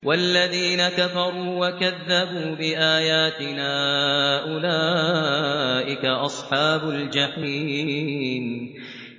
وَالَّذِينَ كَفَرُوا وَكَذَّبُوا بِآيَاتِنَا أُولَٰئِكَ أَصْحَابُ الْجَحِيمِ